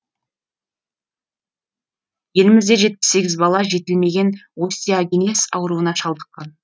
елімізде жетпіс сегіз бала жетілмеген остеагенез ауруына шалдыққан